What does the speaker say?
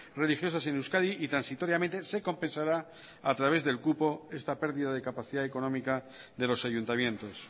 religiosas en euskadi y transitoriamente se compensará a través del cupo esta pérdida de capacidad económica de los ayuntamientos